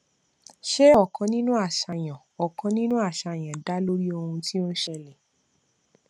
ṣe ọkàn nínú àṣàyàn ọkàn nínú àṣàyàn dá lórí ohun tí ó ń ṣẹlẹ